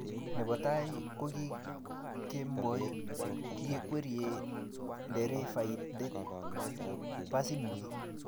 nebo tai kogikemboii kikwerie nderefaindet basiinyi